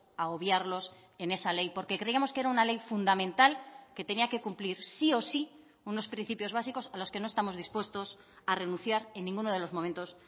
a obviarlos en esa ley porque creíamos que era una ley fundamental que tenía que cumplir sí o sí unos principios básicos a los que no estamos dispuestos a renunciar en ninguno de los momentos